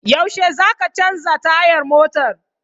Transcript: Yaushe zaka canza tayar motar?